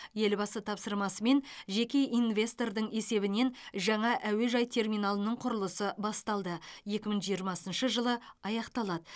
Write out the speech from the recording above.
елбасы тапсырмасымен жеке инвестордың есебінен жаңа әуежай терминалының құрылысы басталды екі мың жиырмасыншы жылы аяқталады